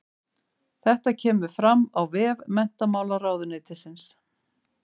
Þetta kemur fram á vef menntamálaráðuneytisins